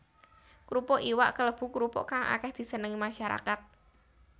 Krupuk iwak kalebu krupuk kang akéh disenengi masyarakat